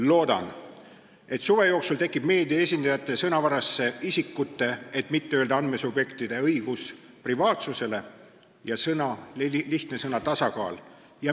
Loodan, et suve jooksul tekivad meedia esindajate sõnavarasse "isikute õigus privaatsusele" – ma ei taha öelda "andmesubjektide õigus" – ja lihtne sõna "tasakaal".